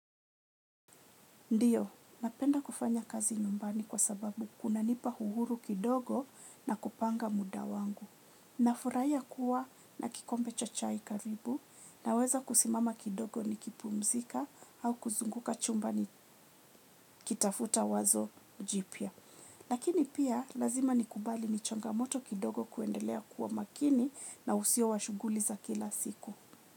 Ndiyo, napenda kufanya kazi nyumbani kwa sababu kuna nipa uhuru kidogo na kupanga muda wangu. Nafurahia kuwa na kikombe cha chai karibu naweza kusimama kidogo nikupumzika au kuzunguka chumbani nikitafuta wazo jipya lakini pia, lazima nikubali ni changamoto kidogo kuendelea kuwa makini na usiyo wa shughuli za kila siku.